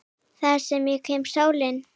Þá kemur sumarið og sólin.